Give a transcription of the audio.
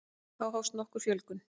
þá hófst nokkur fjölgun